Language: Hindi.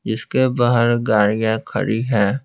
जिसके बाहर गाड़ियां खड़ी है।